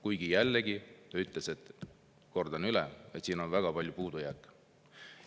Kuigi jällegi ta ütles, kordan üle, et on väga palju puudujääke.